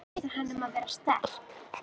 Biður hana um að vera sterk.